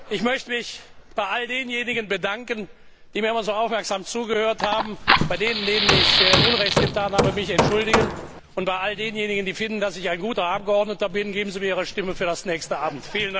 Ich möchte mich bei all denjenigen bedanken, die mir immer so aufmerksam zugehört haben, bei denen, denen ich Unrecht getan habe, mich entschuldigen und bei all denjenigen, die finden, dass ich ein guter Abgeordneter bin Geben Sie mir Ihre Stimme für das nächste Amt!